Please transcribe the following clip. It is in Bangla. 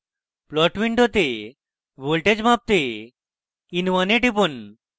plot window voltage মাপতে in1 এ টিপুন